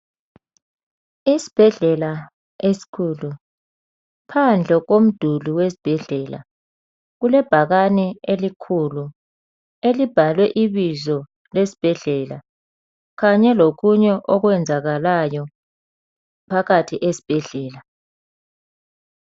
Isibhedlela esikhulu. Phandle komduli wesibhedlela kulebhakane elikhulu elibhalwe ibizo lesibhedlela kanye lokunye okwenzakalayo phakathi esibhedlela.